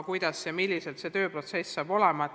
Milline see tööprotsess saab olema?